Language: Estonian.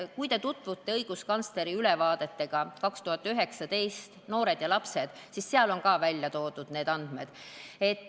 Tutvuge õiguskantsleri 2019. aasta ülevaatega "Lapsed ja noored", seal on need andmed välja toodud.